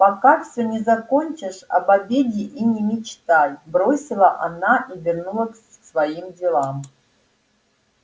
пока все не закончишь об обеде и не мечтай бросила она и вернулась к своим делам